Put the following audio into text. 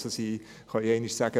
Sie können einmal sagen: